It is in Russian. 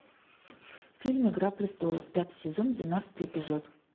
фильм игра престолов пятый сезон двенадцатый эпизод